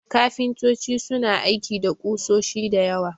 Kafintoci suna aiki da ƙusoshi da yawa.